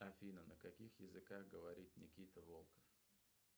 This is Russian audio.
афина на каких языках говорит никита волков